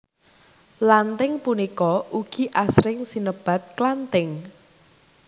Lanthing punika ugi asring sinebat klanthing